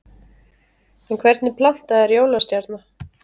En hvernig planta er jólastjarna?